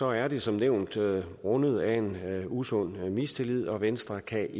er det som nævnt rundet af en usund mistillid og venstre kan